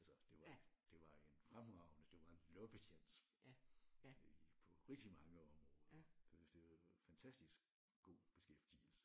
Altså det var det var en fremragende det var en loppetjans på rigtig mange områder det fantastisk god beskæftigelse